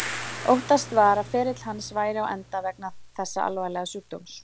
Óttast var að ferill hans væri á enda vegna þessa alvarlega sjúkdóms.